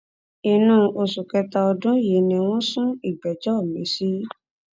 inú oṣù kẹta ọdún yìí ni wọn sún ìgbẹjọ miín sí